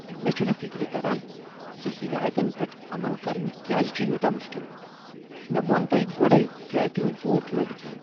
مےٚ چھنہٕ فکر تران ز ہدایتن پٮ۪ٹھ عمل کرن کیٛاز چھ یوٗتاہ مشکل۔ مےٚ ووٚن تۄہہ گۄڑے ٹرٛیکنگ بوٗٹ لٲگتھ ین۔